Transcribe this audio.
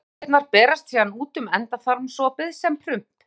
Gastegundirnar berast síðan út um endaþarmsopið sem prump.